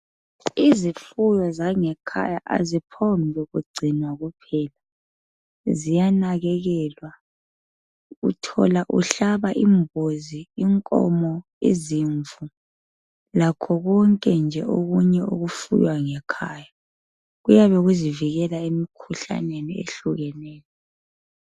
Izifuyo zangekhaya aziphongkugcinwa nje kuphela. Ziyanakekelwa. Uthola uhlaba imbuzi, inkomo, izimvu, lakho konke nje okunye okufuywa ngekhaya. Kuyabe kuzivikela emikhuhlaneni ehlukeneyo.